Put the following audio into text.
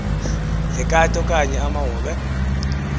lekati okanye amahobe